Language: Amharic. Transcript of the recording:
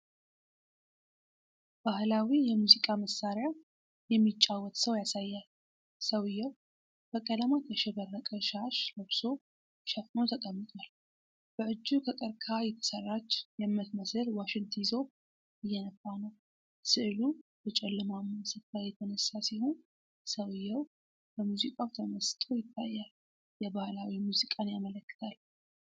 ባህላዊ የሙዚቃ መሳሪያ የሚጫወት ሰው ያሳያል። ሰውየው በቀለማት ያሸበረቀ ሻሽ ለብሶ ሸፍኖ ተቀምጧል። በእጁ ከቀርከሃ የተሠራች የምትመስል ዋሽንት ይዞ እየነፋ ነው። ሥዕሉ በጨለማማ ስፍራ የተነሳ ሲሆን ሰውየው በሙዚቃው ተመስጦ ይታያል። የባህላዊ ሙዚቃን ያመለክታል።